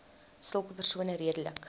sulke persone redelik